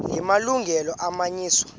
la malungelo anganyenyiswa